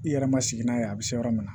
I yɛrɛ ma sigi n'a ye a be se yɔrɔ min na